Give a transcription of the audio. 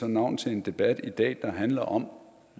navn til en debat der handler om